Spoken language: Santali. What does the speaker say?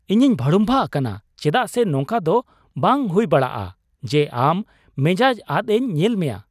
ᱤᱧᱤᱧ ᱵᱷᱟᱲᱩᱢᱵᱷᱟᱜ ᱟᱠᱟᱱᱟ ᱪᱮᱫᱟᱜ ᱥᱮ ᱱᱚᱝᱠᱟ ᱫᱚ ᱵᱟᱝ ᱦᱩᱭ ᱵᱟᱲᱟᱜᱼᱟ ᱡᱮ ᱟᱢ ᱢᱮᱡᱟᱡ ᱟᱫᱽᱤᱧ ᱧᱮᱞ ᱢᱮᱭᱟ ᱾